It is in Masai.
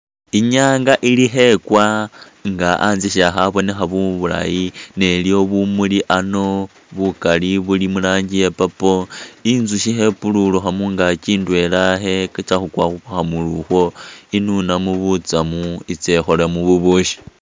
I'nyaanga ili khekwa nga anzye syakhabonekha bulayi ta ne iliwo bumuli ano bukali buli mu rangi ya purple, inzusyi khepululukha mungaaki ndwela ikhetsa khukwa khu khamuli ukhwo inunemu butsamu itse ikholemu bubusyi.